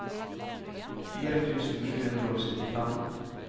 fire tusen sju hundre og syttifem